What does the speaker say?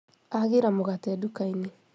Agĩra mũgate nduka-inĩ